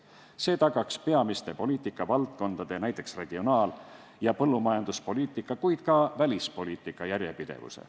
See tagaks peamiste poliitikavaldkondade, näiteks regionaal- ja põllumajanduspoliitika, kuid ka välispoliitika järjepidevuse.